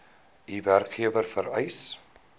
u werkgewer vereis